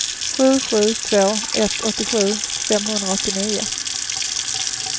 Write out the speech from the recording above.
sju sju två ett åttiosju femhundraåttionio